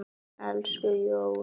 Elsku Jón.